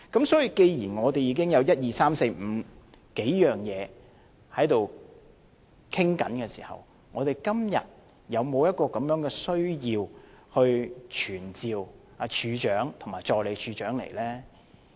所以，既然我們已經循數個渠道在跟進，我們今天是否有需要傳召懲教署署長及助理署長來立法會呢？